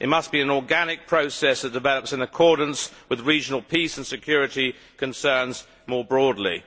It must be an organic process that develops in accordance with regional peace and security concerns more broadly.